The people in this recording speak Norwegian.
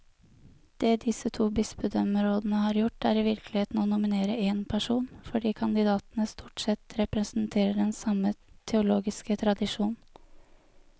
Det disse to bispedømmerådene har gjort, er i virkeligheten å nominere én person, fordi kandidatene stort sett representerer den samme teologiske tradisjon.